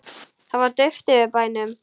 Það var dauft yfir bænum.